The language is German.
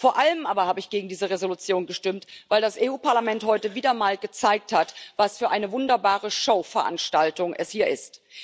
Vor allem aber habe ich gegen diese Entschließung gestimmt, weil das Europäische Parlament heute wieder mal gezeigt hat, was für eine wunderbare Showveranstaltung es hier ist.